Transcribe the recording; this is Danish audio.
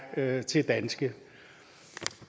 er til danske